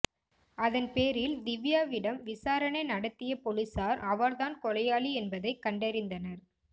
அதன்பேரில் திவ்யாவிடம் விசாரணை நடத்திய பொலிஸார் அவர் தான் கொலையாளி என்பதை கண்டறிந்தனர்